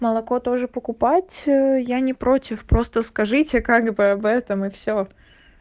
молоко тоже покупать ээ я не против просто скажите как бы об этом и всё